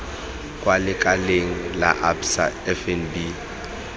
kwa lekaleng la absa fnb